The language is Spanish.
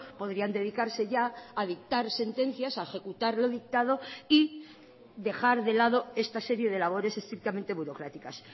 podrían dedicarse ya a dictar sentencias a ejecutar lo dictado y dejar de lado esta serie de labores estrictamente burocráticas